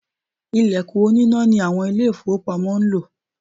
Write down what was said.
Ìlẹ̀kùn oníná ni àwọn Ilé-ìfowópamọ́ ń lò